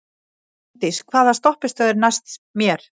Fanndís, hvaða stoppistöð er næst mér?